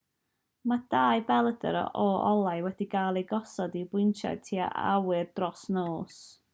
mae dau belydr o olau wedi cael eu gosod i bwyntio tua'r awyr dros nos